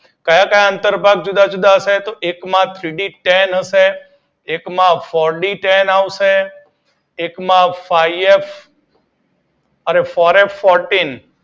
ક્યાં ક્યાં અંતર ભાગો જુદા જુદા છે એક માં સીલીકેન હશે એક માં પોલીકેન આવશે એક માં પાયએફ અને પોએફફોરટીન